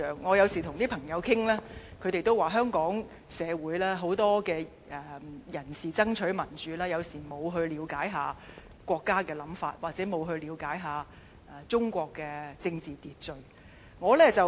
我有時跟朋友討論，他們也表示，香港社會很多人士爭取民主時，沒有了解國家的想法，又或沒有了解中國的政治秩序。